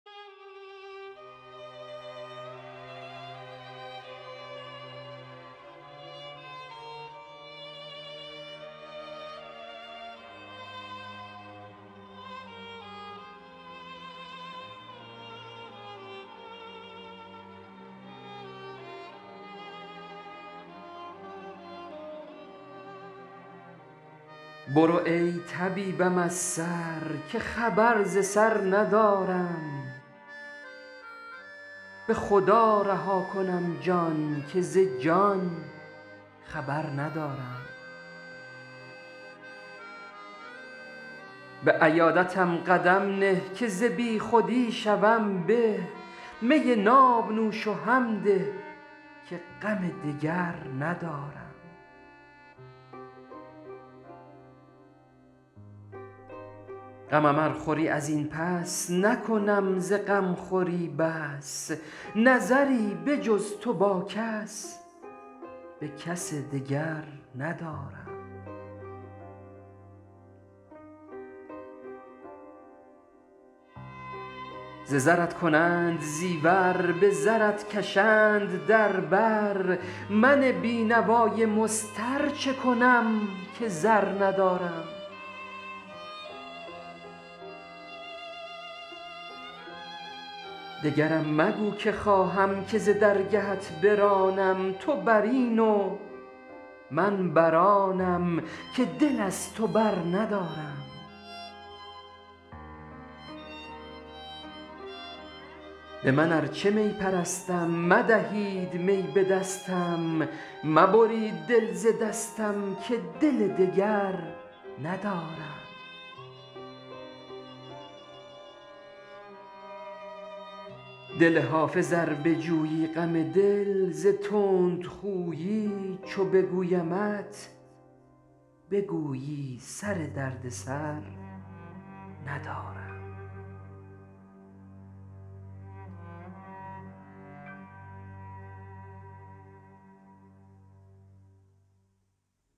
برو ای طبیبم از سر که خبر ز سر ندارم به خدا رها کنم جان که ز جان خبر ندارم به عیادتم قدم نه که ز بی خودی شوم به می ناب نوش و هم ده که غم دگر ندارم غمم ار خوری از این پس نکنم ز غم خوری بس نظری به جز تو با کس به کسی دگر ندارم ز زرت کنند زیور به زرت کشند در بر من بی نوای مضطر چه کنم که زر ندارم دگرم مگو که خواهم که ز درگهت برانم تو بر این و من بر آنم که دل از تو برندارم به من ار چه می پرستم مدهید می به دستم مبرید دل ز دستم که دل دگر ندارم دل حافظ ار بجویی غم دل ز تندخویی چو بگویمت بگویی سر دردسر ندارم